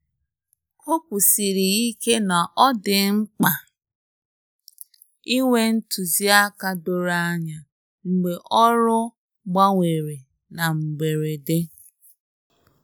Ọ kwusiri ike na ọ dị mkpa inwe ntụzịaka doro anya mgbe ọrụ gbanwere na mberede.